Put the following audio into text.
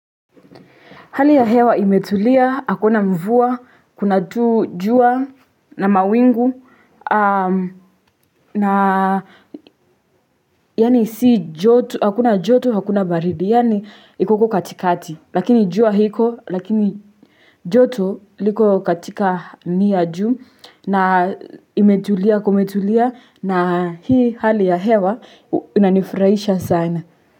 Hali ya hewa imetulia, hakuna mvua, kuna tu jua na mawingu na yaani si joto, hakuna joto, hakuna baridi yani iko uko katikati. Lakini jua iko, lakini joto liko katika ni ya juu na imetulia, kumetulia na hii hali ya hewa inanifurahisha sana.